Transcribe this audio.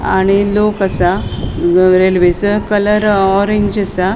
आणि लोक असा रेल्वेसो कलर ऑरेंज असा.